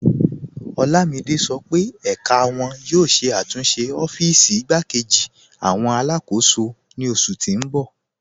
Olamide sọ pe ẹká wọn yóò ṣẹ̀ àtúnṣe ọ́fíìsì ìgbàkẹ̀jì awọn aláàkọ́sò ni oṣù tì n bọ̀.